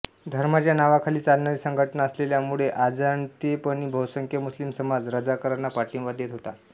धर्माच्या नावाखाली चालणारी संघटना असलेल्या मुळे अजाणतेपणी बहूसंख्य मुस्लिम समाज रझाकारांना पाठिंबा देत होता